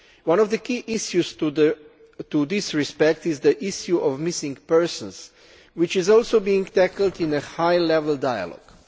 One of the key issues in this respect is the issue of missing persons, which is also being tackled in the high level dialogue.